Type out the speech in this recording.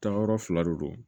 Taayɔrɔ fila de don